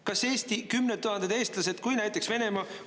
Kas Eesti kümned tuhanded eestlased, kui näiteks Venemaa …